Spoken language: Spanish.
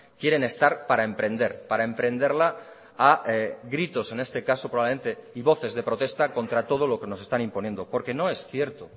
quieren estar para emprender para emprenderla a gritos en este caso probablemente y voces de protesta contra todo lo que nos están imponiendo porque no es cierto